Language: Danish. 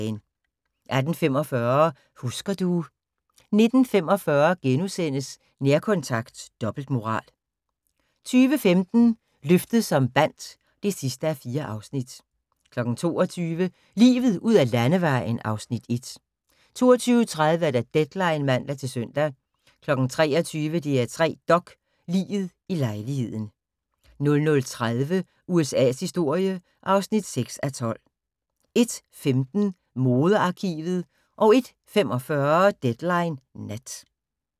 18:45: Husker du ... 19:45: Nærkontakt – dobbeltmoral * 20:15: Løftet som bandt (4:4) 22:00: Livet ud ad landevejen (Afs. 1) 22:30: Deadline (man-søn) 23:00: DR3 Dok: Liget i lejligheden 00:30: USA's historie (6:12) 01:15: Modearkivet 01:45: Deadline Nat